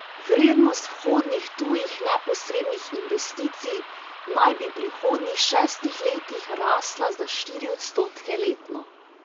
Vrednost vhodnih tujih neposrednih investicij naj bi v prihodnjih šestih letih rasla za štiri odstotke letno.